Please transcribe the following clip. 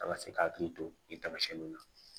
A ka se k'i hakili to nin tamasiɲɛninw na